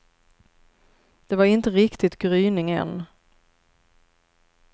Det var inte riktigt gryning än.